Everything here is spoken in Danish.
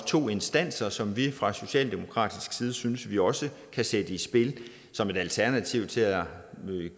to instanser som vi fra socialdemokratisk side synes vi også kan sætte i spil som et alternativ til at